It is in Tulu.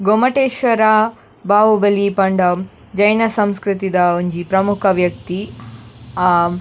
ಗೊಮ್ಮಟೇಶ್ವರ ಬಾಹುಬಲಿ ಪಂಡ ಜೈನ ಸಂಸ್ಕ್ರತಿದ ಒಂಜಿ ಪ್ರಮುಖ ವ್ಯಕ್ತಿ ಆಹ್.